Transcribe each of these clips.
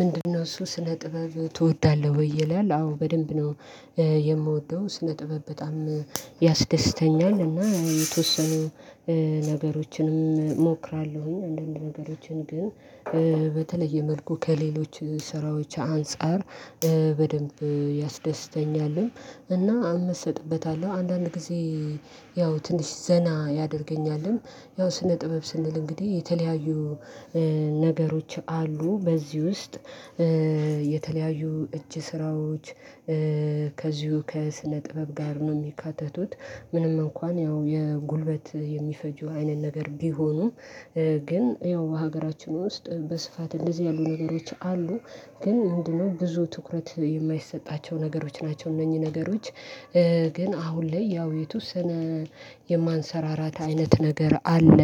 ምንድነው እሱ ስነ ጥበብ ትወዳለህ ወይ? ይላል። አዎ! በደንብ ነው የምወደው። ስነ ጥበብ በጣም ያስደስተኛል እና የተወሰኑ ነገሮችንም እሞክራለሁኝ። አንዳንድ ነገሮችን ግን በተለየ መልኩ ከሌሎች ስራዎች አንፃር በደንብ ያስደስተኛልም እና እመሰጥበታለሁ አንዳንድ ጊዜ ያው ትንሽ ዘና ያደርገኛልም። ያው ስነ ጥበብ ስንል እንግዲህ የተለያዩ ነገሮች አሉ በዚህ ውስጥ። የተለያዩ እጅ ስራዎች ከዚሁ ከስነ ጥበብ ጋር ነው የሚካተቱት ምንም እንኳን ያው የጉልበት የሚፈጁ አይነት ነገር ቢሆኑም። ግን ያው በሀገራችን ውስጥ በስፋት እንደዚህ ያሉ ነገሮች አሉ። ግን ምንድነው ብዙ ትኩረት የማይሰጣቸው ነገሮች ናቸው። እነኚህ ነገሮች ግን አሁን ላይ ያው የተወሰነ የማንሰራራት አይነት ነገር አለ።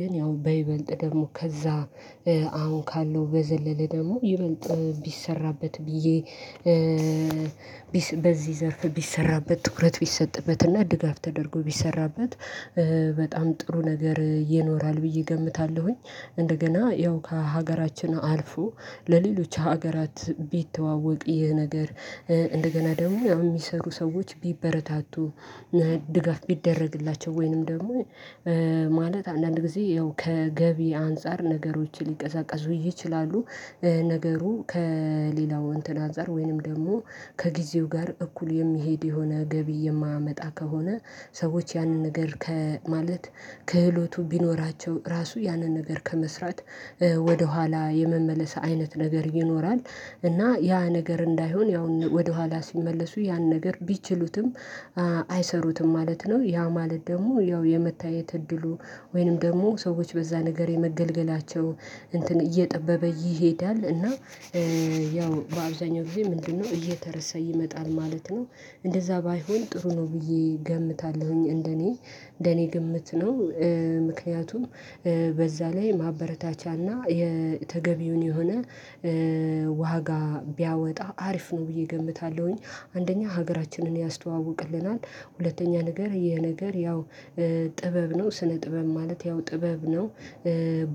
ግን ያው በይበልጥ ደግሞ ከዛ አሁን ካለው በዘለለ ደግሞ ይበልጥ ቢሰራበት ብዬ በዚህ ዘርፍ ቢሰራበት ትኩረት ቢሰጥበትና ድጋፍ ተደርጎ ቢሰራበት በጣም ጥሩ ነገር ይኖራል ብዬ እገምታለሁኝ። እንደገና ያው ከሀገራችን አልፎ ለሌሎች ሀገራት ቢተዋወቅ ይሄ ነገር። እንደገና ደግሞ የሚሰሩ ሰዎች ቢበረታቱ፣ ድጋፍ ቢደረግላቸው ወይንም ደግሞ ማለት አንዳንድ ጊዜ ያው ከገቢ አንፃር ነገሮችን ሊቀዛቀዙ ይችላሉ። ነገሩ ከሌላው እንትን አዛር ወይንም ደግሞ ከጊዜው ጋር እኩል የሚሄድ የሆነ ገቢ የማያመጣ ከሆነ ሰዎች ያንን ነገር ከማለት ክህሎቱ ቢኖራቸው ራሱ ያንን ነገር ከመስራት ወደኋላ የመመለስ አይነት ነገር ይኖራል። እና ያ ነገር እንዳይሆን ያው ወደኋላ ሲመለሱ ያን ነገር ቢችሉትም አይሰሩትም ማለት ነው። ያ ማለት ደግሞ ያው የመታየት እድሉ ወይንም ደግሞ ሰዎች በዛ ነገር የመገልገላቸው እንትን እየጠበበ ይሄዳል። እና ያው በአብዛኛው ጊዜ ምንድነው እየተረሳ ይመጣል ማለት ነው። እንደዛ ባይሆን ጥሩ ነው ብዬ ገምታለሁኝ እንደኔ እንደኔ ግምት ነው። ምክንያቱም በዛ ላይ ማበረታቻና የተገቢውን የሆነ ዋጋ ቢያወጣ አሪፍ ነው ብዬ እገምታለሁኝ። አንደኛ ሀገራችንን ያስተዋውቅልናል። ሁለተኛ ነገር የነገር ያው ጥበብ ነው። ስነ ጥበብ ማለት ያው ጥበብ ነው።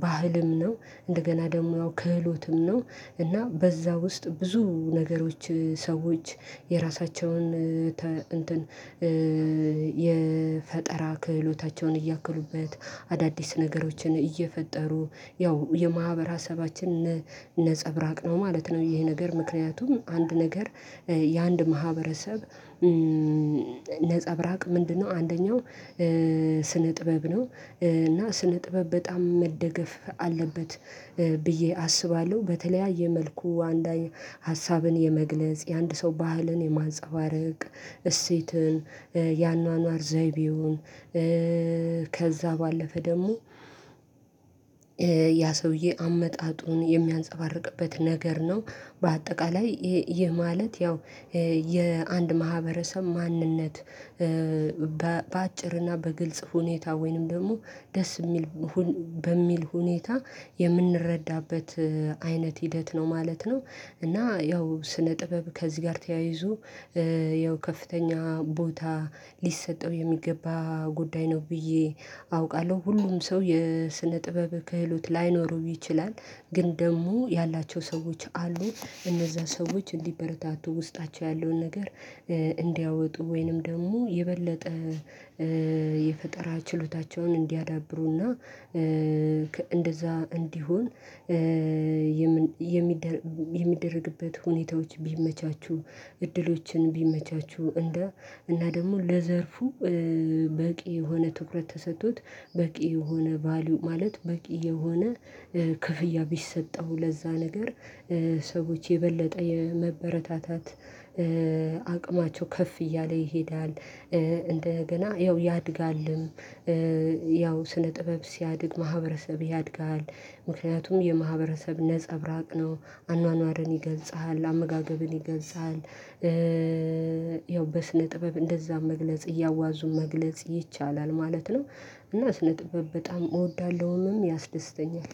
ባህልም ነው፣ እንደገና ደግሞ ያው ክህሎትም ነው፣ እና በዛ ውስጥ ብዙ ነገሮች ሰዎች የራሳቸውን እንትን የፈጠራ ክህሎታቸውን እያከሉበት፣ አዳዲስ ነገሮችን እየፈጠሩ፣ ያው የማህበራሰባችን ነፀብራቅ ነው ማለት ነው ይሄ ነገር ምክንያቱም አንድ ነገር የአንድ ማህበረሰብ ነፀብራቅ ምንድነው አንደኛው ስነ ጥበብ ነው። እና ስነ ጥበብ በጣም መደገፍ አለበት ብዬ አስባለሁ በተለያየ መልኩ አንዳይ ሀሳብን የመግለጽ፣ የአንድ ሰው ባህልን የማንፀባረቅ፣ እሴትን፣ ያኗኗር ዘይቤውን ከዛ ባለፈ ደግሞ ያ ሰውዬ አመጣጡን የሚያንፀባርቅበት ነገር ነው። በአጠቃላይ ይህ ማለት ያው የአንድ ማህበረሰብ ማንነት በአጭርና በግልጽ ሁኔታ ወይንም ደግሞ ደስ ሚል በሚል ሁኔታ የምንረዳበት አይነት ሂደት ነው ማለት ነው። እና ያው ስነ ጥበብ ከዚህ ጋር ተያይዞ ያው ከፍተኛ ቦታ ሊሰጠው የሚገባ ጉዳይ ነው ብዬ አውቃለሁ። ሁሉም ሰው የስነ ጥበብ ክህሎት ላይኖረው ይችላል። ግን ደግሞ ያላቸው ሰዎች አሉ። እነዛ ሰዎች እንዲበረታቱ ውስጣቸው ያለውን ነገር እንዲያወጡ ወይንም ደግሞ የበለጠ የፈጠራ ችሎታቸውን እንዲያዳብሩና እንደዛ እንዲሆን የምን የሚደረግ የሚደረግበት ሁኔታዎች ቢመቻቹ እድሎችን ቢመቻቹ። እንደ እና ደግሞ ለዘርፉ በቂ የሆነ ትኩረት ተሰጥቶት በቂ የሆነ ቫልዩ ማለት በቂ የሆነ ክፍያ ቢሰጠው ለዛ ነገር ሰዎች የበለጠ የመበረታታት አቅማቸው ከፍ እያለ ይሄዳል። እንደገና ያው ያድጋልም ያው ስነ ጥበብ ሲያድግ ማህበረሰብ ያድጋል። ምክንያቱም የማህበረሰብ ነፀብራቅ ነው አኗኗርን ይገልጻል፣ አመጋገብን ይገልጻል። ያው በስነ ጥበብ እንደዛ መግለጽ እያዋዙ መግለጽ ይቻላል ማለት ነው። እና ስነ ጥበብ በጣም እወዳለሁንም ያስደስተኛል።